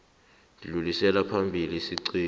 dlulisela phambili isiqunto